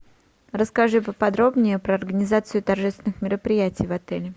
расскажи поподробнее про организацию торжественных мероприятий в отеле